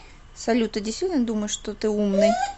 салют ты действительно думаешь что ты умный